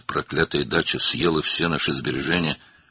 "Bu lənətə gəlmiş bağ evi bütün əmanətlərimizi yedi."